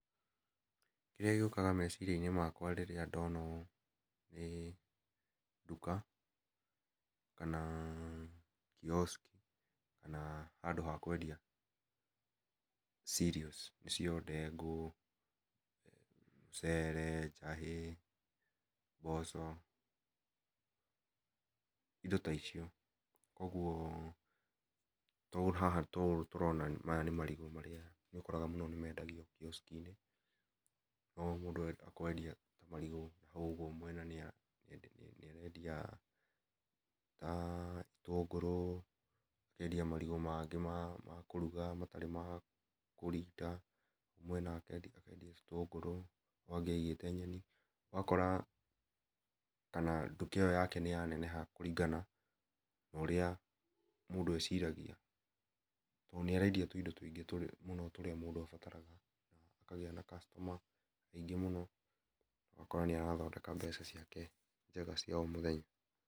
Kĩrĩa gĩũkaga meciria inĩ makwa rĩrĩa ndona ũũ nĩ ndũka, kana kiosk kana handũ ha kwendia cereals ndengũ, mũcere, njahĩ, mboco indo ta icio kũogũo haha ta ũũ tũrona haha maya nĩ marigũ marĩa nĩ ũkoraga nĩ marendio kiosk inĩ no mũno mũndũ ũrenda kwendia marigũ kũogũo mwene nĩ arendia nĩarendia na ĩtũngũrũ akendia marigũ mangĩ ma kũrũga matarĩ makũrinda na haũ hangĩ akendia ĩtũngũrũ haũ hangĩ aigĩte nyeni ũgakora kana ndũka ĩyo yake nĩ ya nene ha kũringana na ũrĩa mũndũ eciragia to nĩ arendia tũindo tũingĩ tũrĩa mũndũ abataraga akagĩa na customer aingĩ mũno ũgakora nĩ arathondeka mbeca ciake njega cia o mũthenya .